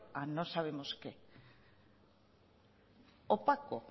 a no sabemos qué opaco